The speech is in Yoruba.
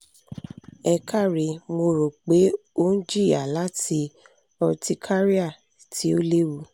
ẹ káre mo ro pe o n jiya lati urticaria ti o lewu